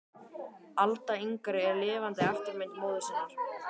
Alda yngri er lifandi eftirmynd móður sinnar.